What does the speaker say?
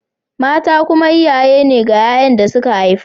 Mata kuma uwaye ne ga ‘ya’yan da suka haifa